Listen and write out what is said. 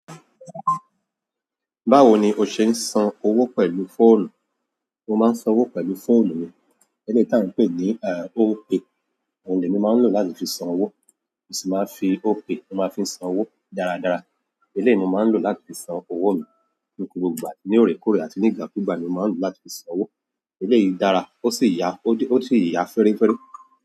Báwo ni o ṣe ń san owó pẹ̀lú fóònù? Mo máa ń san owó pẹ̀lú fóònù mi. Eléyìí ta ń pè ní Opay. Òhun ni èmi máa ń lò láti fi san owó. Mo sì máa fi Opay, mo máa fi san owó dáradára. Eléyè ni mo máa ń lò láti fi san owó mi ní gbogbo ìgbà. Ní òrèkóòrè àti ní ìgbà kúgbà ni mo má ń lòó láti fi sanwó. Eléyìí dára, ó sì yà, ó sì yiya féréféré.